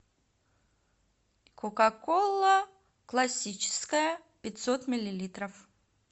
кока кола классическая пятьсот миллилитров